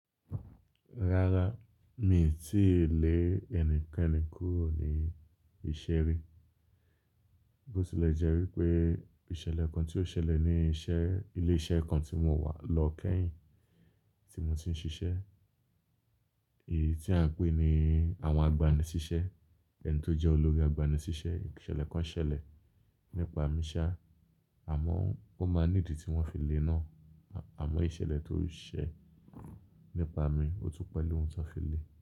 Rárá, mi ò tíì lé ẹnikẹ́ni kúrò ní ìṣeré. Bó tì lẹ̀ jẹ́ wí pé ìṣẹ̀lẹ̀ kan tí ó ṣẹlẹ̀ ní ilé iṣẹ́ kan tí mo wà lọ kẹ́yìn tí mo ti ń ṣiṣẹ́. Èyí tí à ń pè ni àwọn agbanisiṣẹ́. Ẹni tó jẹ́ olórí agbanisiṣẹ́, ìṣẹ̀lẹ̀ kan ṣẹlẹ̀ nípa mi ṣá, àmọ́ ó máa nídì tí wọ́n fi lè náà. Àmọ́ ìṣẹ̀lẹ̀ tó ṣe nípa mi, ò tún pẹ̀lú ohun tí wọ́n fi lè.